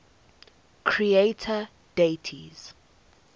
creator deities